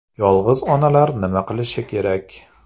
Yolg‘iz onalar nima qilishi kerak?